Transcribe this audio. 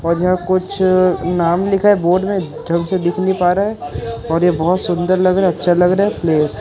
और यह कुछ नाम लिखा है बोर्ड में ढंग से दिख नहीं पा रहा है और ये बहोत सुंदर लग रहा है अच्छा लग रहा है प्लेस --